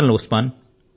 అభినందనలు